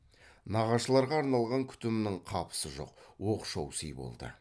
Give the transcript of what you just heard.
нағашыларға арналған күтімнің қапысы жоқ оқшау сый болды